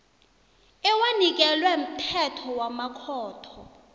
ewanikelwe mthetho wamakhotho